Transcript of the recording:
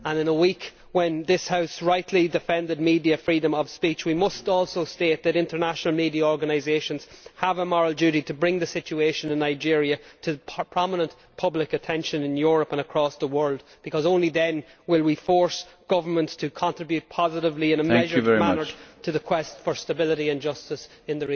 In a week when this House rightly defended media freedom of speech, we must also state that international media organisations have a moral duty to bring the situation in Nigeria to prominent public attention in Europe and across the world, because only then will we force governments to contribute positively and in a measured manner to the quest for stability and justice in